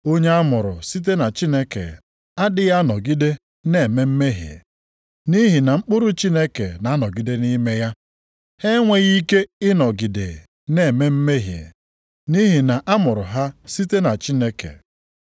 Onye a mụrụ site na Chineke adịghị anọgide na-eme mmehie, nʼihi na mkpụrụ Chineke na-anọgide nʼime ya, ha enweghị ike ịnọgide na-eme mmehie, nʼihi na a mụrụ ha site na Chineke.